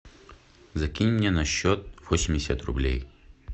закинь мне на счет восемьдесят рублей